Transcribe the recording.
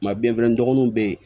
Ma biyɛn fɛnɛ dɔgɔninw be yen